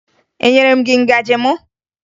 Enyere m gị ngaji m?